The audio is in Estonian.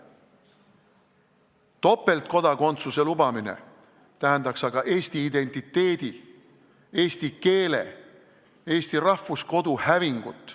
Topeltkodakondsuse lubamine tähendaks aga Eesti identiteedi, eesti keele, eesti rahvuskodu hävingut.